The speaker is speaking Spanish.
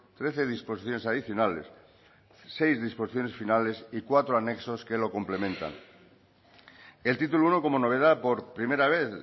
trece disposiciones adicionales seis disposiciones finales y cuatro anexos que lo complementan el título uno como novedad por primera vez